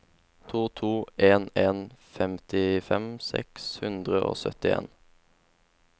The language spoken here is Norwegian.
to to en en femtifem seks hundre og syttien